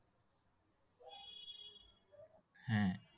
হ্যাঁ